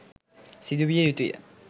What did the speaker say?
සිදු විය යුතුය